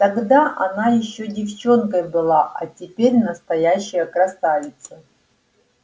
тогда она ещё девчонкой была а теперь настоящая красавица